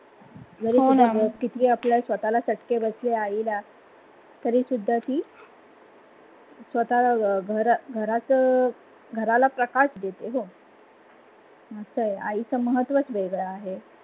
जरी कितिहि आपल्या स्वतःला चटके बसले आई ला तरी ते घराला प्रकाश देते. आईच महत्त्वच वेगळ आहे.